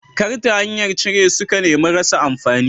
Karta hanyar cire suka ne marasa amfani.